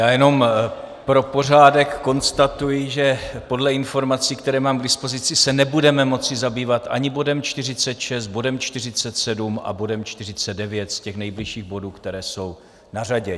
Já jenom pro pořádek konstatuji, že podle informací, které mám k dispozici, se nebudeme moci zabývat ani bodem 46, bodem 47 a bodem 49 z těch nejbližších bodů, které jsou na řadě.